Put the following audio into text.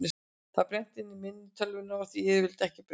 Það er brennt inn í minni tölvunnar og því er yfirleitt ekki breytt.